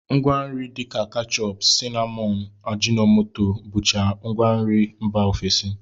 Ngwanri dịka kechọp, sinamọn, ajịnọmoto bụcha ngwanri mba ofesi